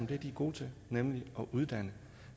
det de er gode til nemlig at uddanne